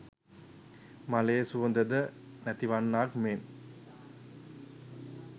මලේ සුවඳ ද නැතිවන්නාක් මෙන්